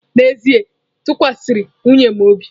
N'ezie m tụkwasịrị nwunye m obi.